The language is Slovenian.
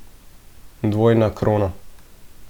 Dvojna krona.